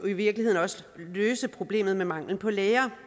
i virkeligheden også løse problemet med manglen på læger